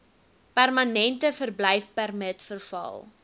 permanente verblyfpermit verval